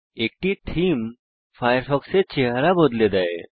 একটি থীম ফায়ারফক্সের চেহারা বদলে দেয়